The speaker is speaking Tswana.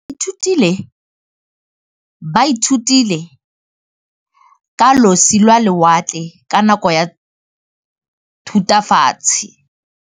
Baithuti ba ithutile ka losi lwa lewatle ka nako ya Thutafatshe.